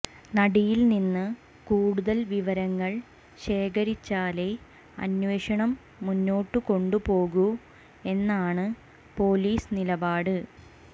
നടിയിൽ നിന്ന് കൂടുതൽ വിവരങ്ങൾ ശേഖരിച്ചാലേ അന്വേഷണം മുന്നോട്ടു കൊണ്ടുപോകൂ എന്നാണ് പൊലീസ് നിലപാട്